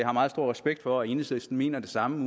har meget stor respekt for at enhedslisten mener det samme ud